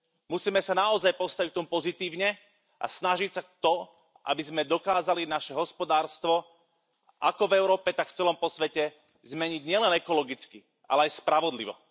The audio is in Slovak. Musíme sa naozaj postaviť k tomu pozitívne, a snažiť sa o to, aby sme dokázali naše hospodárstvo, ako v Európe tak v celom svete, zmeniť nielen ekologicky, ale aj spravodlivo.